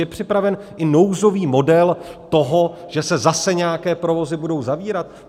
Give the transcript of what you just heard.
Je připraven i nouzový model toho, že se zase nějaké provozy budou zavírat?